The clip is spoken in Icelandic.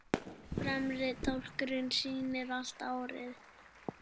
fremri dálkurinn sýnir allt árið